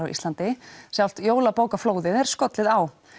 á Íslandi sjálft jólabókaflóðið er skollið á